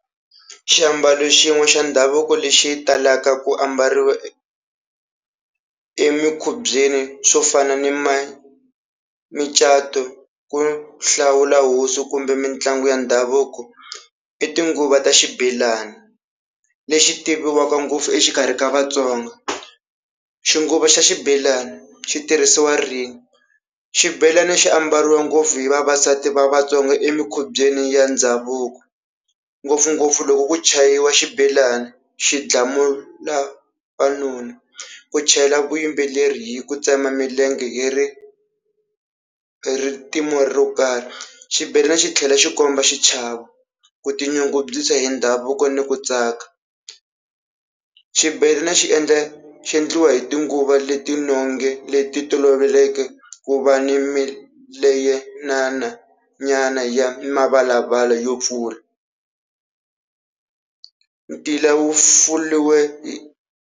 Xiambalo xin'we xa ndhavuko lexi talaka ku ambariwa emikubyeni swo fana ni ma micato ku hlawula hosi kumbe mitlangu ya ndhavuko i tinguva ta xibelani, lexi tiviwaka ngopfu exikarhi ka Vatsonga. Xinguva xa xibelani xi tirhisiwa rini? Xibelani xi ambariwa ngopfu hi vavasati va Vatsonga emikubyeni ya ndhavuko ngopfungopfu loko ku chayiwa xibelani xi dlamula , ku chela vuyimbeleri hi ku tsema milenge hi ri ro karhi. Xibelani xi tlhela xi komba xichavo, ku tinyungubyisa hi ndhavuko ni ku tsaka. Xibedhlele xi endla xi endliwa hi tinguva leti leti toloveleke ku va ni nyana ya mavalavala yo pfula .